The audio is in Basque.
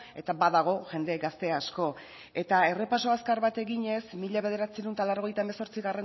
eta badago jende gazte asko eta errepaso azkar bat eginez mila bederatziehun eta laurogeita hemezortzigarrena